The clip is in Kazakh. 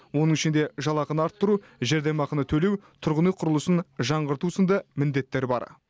оның ішінде жалақыны арттыру жәрдемақыны төлеу тұрғын үй құрылысын жаңғырту сынды міндеттер бар